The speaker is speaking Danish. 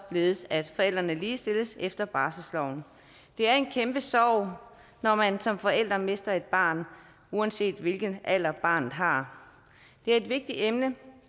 således at forældrene ligestilles efter barselsloven det er en kæmpe sorg når man som forældre mister et barn uanset hvilken alder barnet har det er et vigtigt emne